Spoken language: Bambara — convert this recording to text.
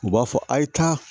U b'a fɔ a ye tan